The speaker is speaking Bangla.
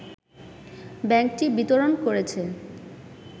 ব্যাংকটি বিতরণ করেছে